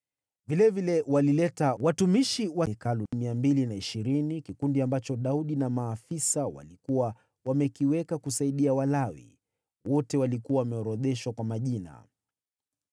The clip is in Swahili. Vilevile walileta watumishi wa Hekalu 220, kikundi ambacho Daudi na maafisa walikuwa wamekiweka kusaidia Walawi. Wote walikuwa wameorodheshwa kwa majina.